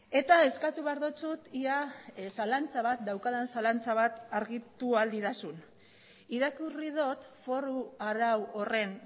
eta eskatu behar dizut ia zalantza bat daukadan zalantza bat argitu ahal didazun irakurri dut foru arau horren